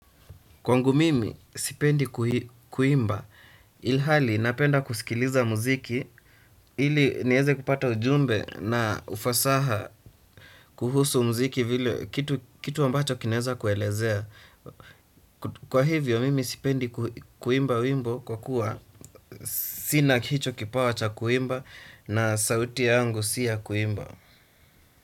Kwangu mimi sipendi kuimba, ilhali napenda kusikiliza muziki, ili niweze kupata ujumbe na ufasaha kuhusu muziki vile kitu ambacho kinaweza kuelezea. Kwa hivyo mimi sipendi kuimba wimbo kwa kuwa sina hicho kipawa cha kuimba na sauti yangu si ya kuimba.